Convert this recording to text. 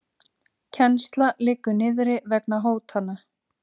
Kennsla liggur niðri vegna hótana